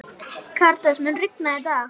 Karítas, mun rigna í dag?